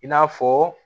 I n'a fɔ